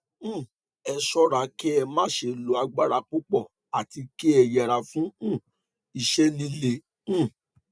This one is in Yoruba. um ẹ ṣọra kí ẹ má ṣe lo agbára púpọ àti kí ẹ yẹra fún um iṣẹ líle um